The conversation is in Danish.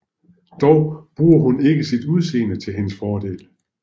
Dog bruger hun ikke sit udseende til hendes fordel